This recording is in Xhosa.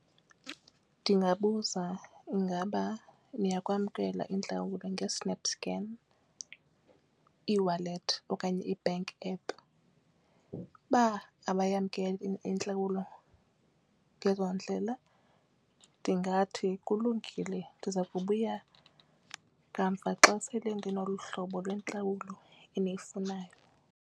Ndingabuza ingaba niyakwamkela intlawulo nge-snap scan ewallet okanye i-bank app, uba abayamkeli intlawulo ngezo ndlela ndingathi kulungile ndiza kubuya kamva xa sele ndinolu hlobo lwentlawulo eniyifunayo.